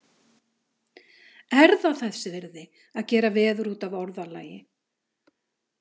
Er það þess virði að gera veður út af orðalagi?